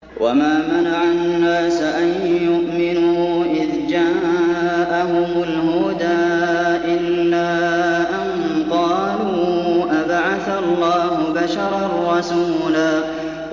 وَمَا مَنَعَ النَّاسَ أَن يُؤْمِنُوا إِذْ جَاءَهُمُ الْهُدَىٰ إِلَّا أَن قَالُوا أَبَعَثَ اللَّهُ بَشَرًا رَّسُولًا